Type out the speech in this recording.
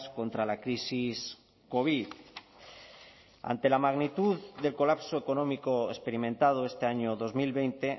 contra la crisis covid ante la magnitud del colapso económico experimentado este año dos mil veinte